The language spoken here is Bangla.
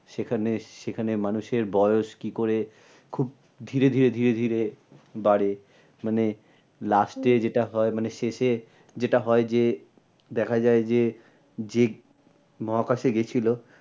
সেখানে, সেখানে মানুষের বয়স কী করে খুব ধিরে ধিরে ধিরে ধিরে বাড়ে? মানে last এ যেটা হয় মানে শেষে যেটা হয় যে দেখা যায় যে যে মহাকাশে গিয়েছিলো